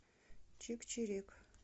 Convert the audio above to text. чик чирик